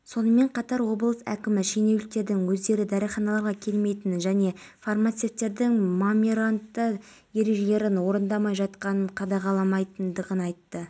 осы жолы қазақстан мен қырғызстанның бітімгерлік күштерін ұжымдық қауіпсіздік шарт ұйымының аясында қолдану туралы ақпарат